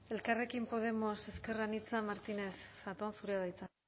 elkarrekin podemos ezker anitza martínez zatón zurea da hitza